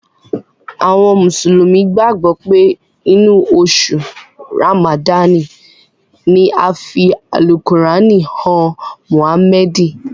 Àwọn mùsùlùmí gbàgbọ́ pé inú oṣù Ràmàdáànì ni a fi Àlùkùránì han Mụ̀hámẹ́ẹ̀dì.